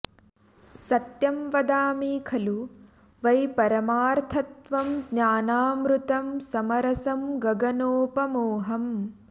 सत्यं वदामि खलु वै परमार्थतत्त्वं ज्ञानामृतं समरसं गगनोपमोऽहम्